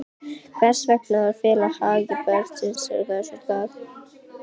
Hvers vegna að fela hegðun barnsins á þessum stað?